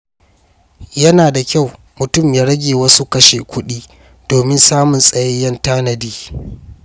Yana da kyau mutum ya rage wasu kashe-kuɗi domin samun tsayayyen tanadi.